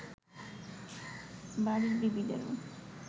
বাড়ীর বিবিদেরও